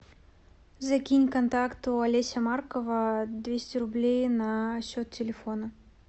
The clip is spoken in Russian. закинь контакту олеся маркова двести рублей на счет телефона